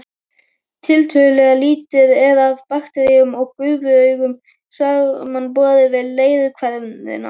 Tiltölulega lítið er af bakteríum við gufuaugu samanborið við leirhverina.